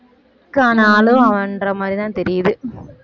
ஆனாலும் அவன்ற மாதிரிதான் தெரியுது